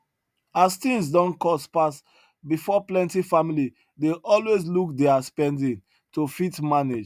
as things don cost pass before plenty family dey always look deir spending to fit manage